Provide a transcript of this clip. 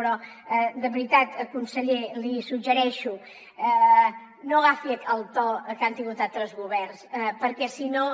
però de veritat conseller l’hi suggereixo no agafi el to que han tingut altres governs perquè si no